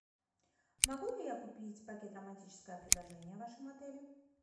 могу ли я купить пакет романтическое предложение в вашем отеле